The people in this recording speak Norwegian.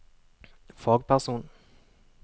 fagperson